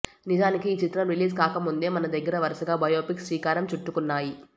నిజానికి ఈ చిత్రం రిలీజ్ కాకముందే మన దగ్గర వరుసగా బయోపిక్స్ శ్రీకారం చుట్టుకున్నాయి